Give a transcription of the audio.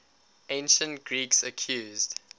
ancient greeks accused